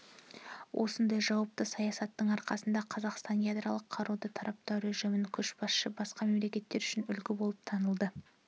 осындай жауапты саясатының арқасында қазақстан ядролық қаруды таратпау режімінің көшбасшысы басқа мемлекеттер үшін үлгі болып танылды